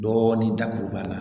Dɔɔnin dakuruba la